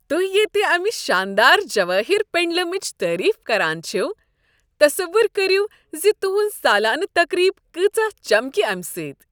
توہہِ ییتہِ امہ شاندار جوٲہِر پینڈلمٕچ تعٲریٖف کران چھوٕ، تصور کریو ز تہٕنٛز سالانہٕ تقریٖب کٲژاہ چمکہ امہِ سٕتۍ۔